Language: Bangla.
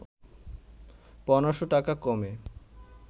১৫শ’ টাকা কমে